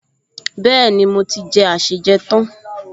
Bẹ́ẹ̀ni, mo ti jẹ àsèjẹ tán